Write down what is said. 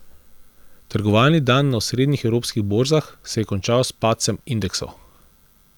Trgovalni dan na osrednjih evropskih borzah se je končal s padcem indeksov.